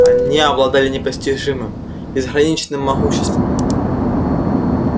они обладали непостижимым безграничным могуществом